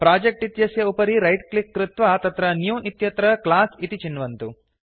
project इत्यस्य उपरि right click कृत्वा तत्र न्यू इत्यत्र क्लास इति चिन्वन्तु